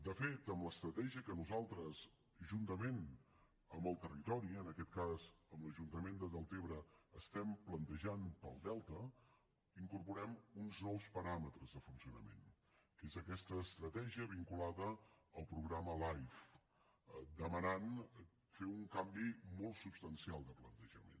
de fet amb l’estratègia que nosaltres i juntament amb el territori en aquest cas amb l’ajuntament de deltebre estem plantejant per al delta incorporem uns nous paràmetres de funcionament que és aquesta estratègia vinculada al programa life demanant fer un canvi molt substancial de plantejament